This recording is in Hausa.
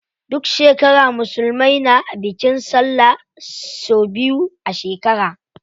Duk shekara musulmai na bikin sallah sau biyu a shekara.